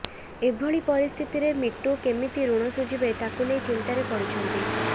ଏଭଳି ପରିସ୍ଥିତିରେ ମିଟୁ କେମିତି ଋଣ ଶୁଝିବେ ତାକୁ ନେଇ ଚିନ୍ତାରେ ପଡ଼ିଛନ୍ତି